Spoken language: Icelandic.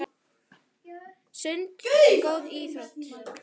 Sund er góð íþrótt.